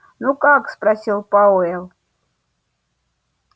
ну как спросил пауэлл